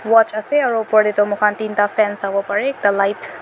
watch ase aru opor tae toh moi khan tinta fan savo parey ekta light .